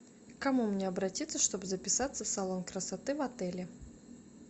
к кому мне обратиться чтобы записаться в салон красоты в отеле